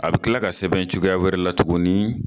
A bi kila ka sɛbɛn cogoya wɛrɛ la tuguni ?